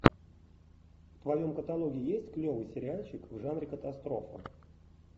в твоем каталоге есть клевый сериальчик в жанре катастрофа